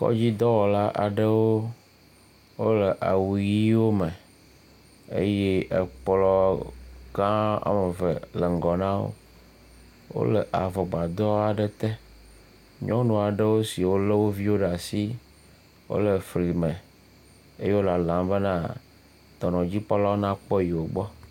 Kɔdzidɔwɔla aɖewo wole awu ɣiwo me eye ekplɔ gã woameve le ŋgɔ na wo, wole avɔgbadɔ aɖe te. Nyɔnu aɖewo siwo le woviwo ɖe asi wole fli me eye wo lalam bena dɔnɔdzikpɔlawo na kpɔ yewo gbɔ.